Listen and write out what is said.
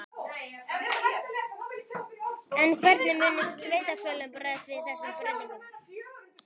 En hvernig munu sveitarfélögin bregðast við þessum breytingum?